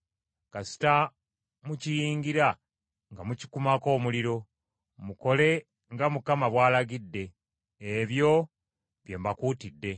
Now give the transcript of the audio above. Kasita mukiyingira nga mukikumako omuliro. Mukole nga Mukama bw’alagidde. Ebyo bye mbakuutidde.”